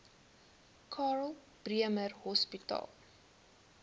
karl bremer hospitaal